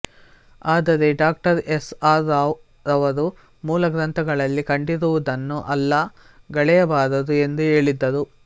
ಆದರೆ ಡಾ S R Rao ರವರು ಮೂಲಗ್ರಂಥಗಳಲ್ಲಿ ಕಂಡಿರುವುದನ್ನು ಅಲ್ಲ ಗಳೆಯಬಾರದು ಎಂದು ಹೇಳಿದ್ದರು